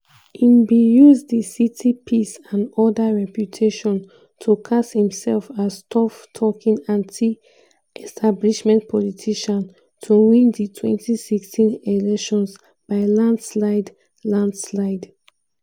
im bin use di city peace-and-order reputation to cast imself as tough-talking anti-establishment politician to win di 2016 elections by landslide. landslide.